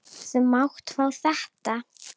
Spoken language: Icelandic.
Þú mátt fá þetta.